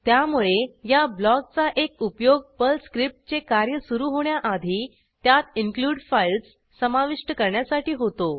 त्यामुळे या ब्लॉकचा एक उपयोग पर्ल स्क्रिप्टचे कार्य सुरू होण्याआधी त्यात इन्क्लूड फाइल्स समाविष्ट करण्यासाठी होतो